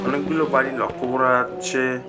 অনেকগুলো বাড়ি লক্ষ্য করা যাচ্ছে।